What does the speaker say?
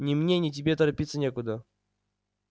ни мне ни тебе торопиться некуда